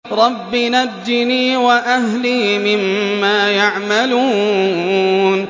رَبِّ نَجِّنِي وَأَهْلِي مِمَّا يَعْمَلُونَ